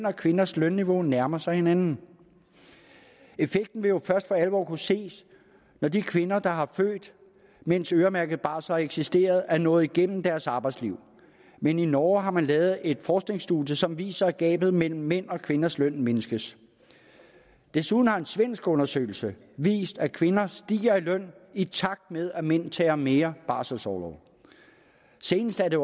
og kvinders lønniveau nærmer sig hinanden effekten vil jo først for alvor kunne ses når de kvinder der har født mens øremærket barsel har eksisteret er nået igennem deres arbejdsliv men i norge har man lavet et forskningsstudie som viser at gabet mellem mænds og kvinders løn mindskes desuden har en svensk undersøgelse vist at kvinder stiger i løn i takt med at mænd tager mere barselsorlov senest har det